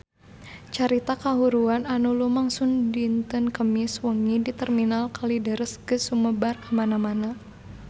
Carita kahuruan anu lumangsung dinten Kemis wengi di Terminal Kalideres geus sumebar kamana-mana